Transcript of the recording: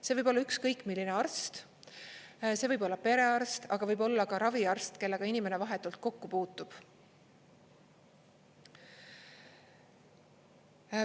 See võib olla ükskõik milline arst: see võib olla perearst, aga võib olla ka raviarst, kellega inimene vahetult kokku puutub.